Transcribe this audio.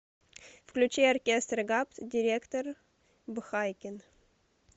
включи оркестр габт директор б хайкин